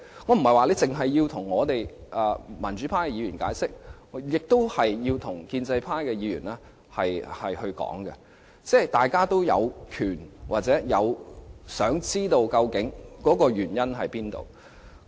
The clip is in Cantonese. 我不是要政府只向民主派議員解釋，政府也應向建制派議員解說，因為大家都有權知道箇中原因。